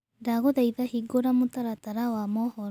ndagũthaĩtha hĩngũra mũtaratara wa mohoro